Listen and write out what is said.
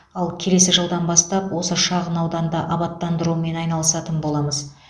ал келесі жылдан бастап осы шағын ауданды абаттандырумен айналысатын боламыз